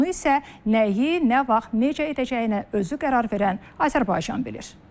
Bunu isə nəyi, nə vaxt, necə edəcəyini də özü qərar verən Azərbaycan bilir.